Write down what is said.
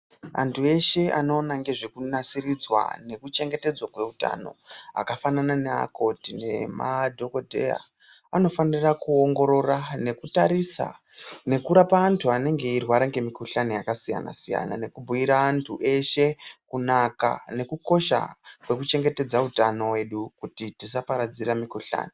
Antu eshe anoona ngezvekunasiridzwa nekuchengetedzwa kweutano akafanana neakoti nemadhokodheya anofanira kuongorora nekutarisa nekurapa antu anenge eirwara ngemikuhlani yakasiyana siyana nekubhuyira antu eshe kunaka nekukosha kwakaita utano hwedu kuitira kuti tisaparadzirana mikuhlani.